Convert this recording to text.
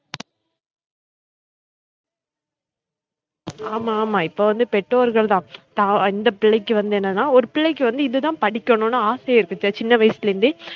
ஆமா ஆமா இப்ப வந்து பெற்றோர்கள் தான் தான் இந்த பிள்ளைக்கு வந்து என்னனா ஒரு பிள்ளைக்கு வந்து இதுதான் படிக்கனும்னு ஆசை இருக்கு சின்ன வயசுல இருந்தே